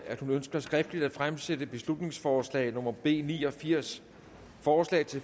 at hun ønsker skriftligt at fremsætte beslutningsforslag nummer b ni og firs forslaget